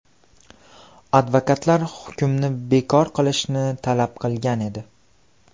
Advokatlar hukmni bekor qilishni talab qilgan edi.